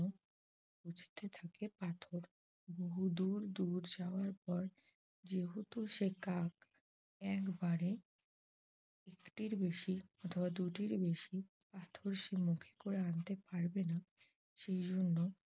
বহু দুর দুর যাওয়ার পর যেহেতু সে কাক একবারে একটির বেশি বা দুটির বেশি পাথর সে মুখে করে আনতে পারবে না সেজন্য